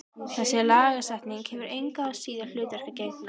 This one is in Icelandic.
Þessi lagasetning hefur engu að síður hlutverki að gegna.